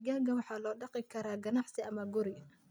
Digaagga waxaa loo dhaqi karaa ganacsi ama guri.